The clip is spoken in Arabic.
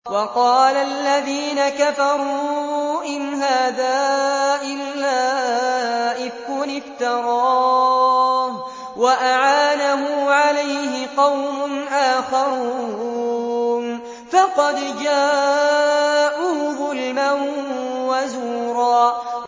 وَقَالَ الَّذِينَ كَفَرُوا إِنْ هَٰذَا إِلَّا إِفْكٌ افْتَرَاهُ وَأَعَانَهُ عَلَيْهِ قَوْمٌ آخَرُونَ ۖ فَقَدْ جَاءُوا ظُلْمًا وَزُورًا